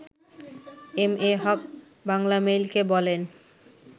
M A Haq বাংলামেইলকে বলেন